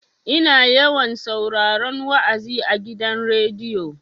Ina yawan sauraron wa'azi a gidan rediyo.